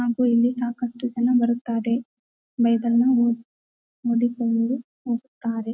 ಹಾಗೂ ಇಲ್ಲಿ ಸಾಕಷ್ಟ್ಟು ಜನ ಬರುತ್ತಾರೆ ಬೈಬಲ್ ನ ಓದಿಕೊಂಡು ಹೋಗ್ತಾರೆ.